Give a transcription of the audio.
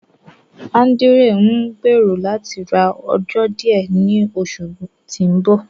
Ándrew n gbẹ̀rọ̀ látí rá ọ̀jọ̀ díẹ̀ ní oṣù tí n bọ.